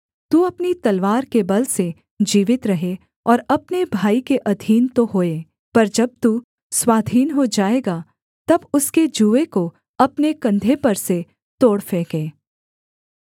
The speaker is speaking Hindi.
तू अपनी तलवार के बल से जीवित रहे और अपने भाई के अधीन तो होए पर जब तू स्वाधीन हो जाएगा तब उसके जूए को अपने कंधे पर से तोड़ फेंके